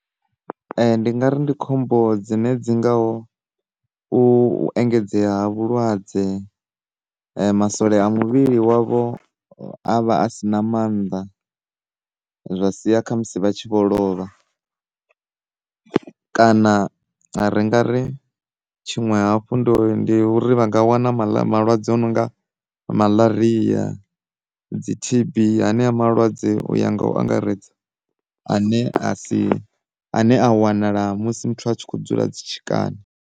Ndi ngari ndi khombo dzine dzi ngaho u engedzea ha vhulwadze masole a muvhili wavho avha a si na mannḓa zwa sia khamusi vha tshi vho lovha, kana ri nga ri tshiṅwe hafhu ndi uri vha nga wana maḽa, malwadze a no nga maḽaria, dzi T_B hanea malwadze u ya nga u angaredze ane a si, a ne a wanala musi muthu a tshi kho dzula dzitshikani.